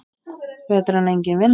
Betra en engin vinna.